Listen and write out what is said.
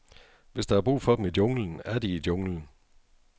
Hvis der er brug for dem i junglen, er de i junglen.